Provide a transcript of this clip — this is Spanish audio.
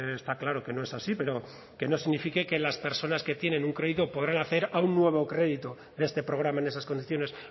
está claro que no es así pero que no signifique que las personas que tienen un crédito podrán acceder a un nuevo crédito de este programa en esas condiciones